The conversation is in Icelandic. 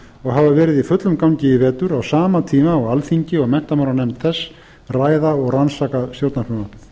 og hafa verið í fullum gangi í vetur á sama tíma og alþingi og menntamálanefnd þess ræða og rannsaka stjórnarfrumvarpið